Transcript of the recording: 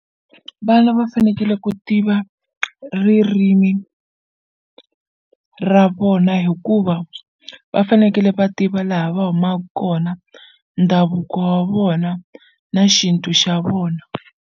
Vana va fanekele ku tiva ririmi ra vona hikuva va fanekele va tiva laha va humaku kona ndhavuko wa vona na xintu xa vona.